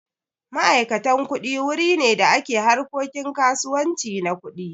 Ma'aikatan kuɗi wuri ne da ke harkokin kasuwanci na kuɗi.